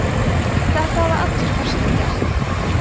þetta hafa allir forsetar gert